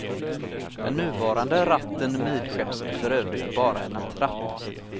Den nuvarande ratten midskepps är för övrigt bara en attrapp.